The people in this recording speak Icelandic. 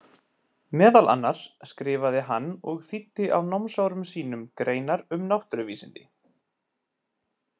Meðal annars skrifaði hann og þýddi á námsárum sínum greinar um náttúruvísindi.